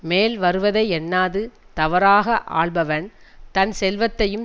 மேல்வருவதை எண்ணாது தவறாக ஆள்பவன் தன் செல்வத்தையும்